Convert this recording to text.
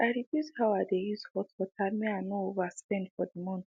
i reduce how i dey use hot water make i no over spend for the month